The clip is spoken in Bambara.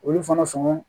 Olu fana sɔngɔn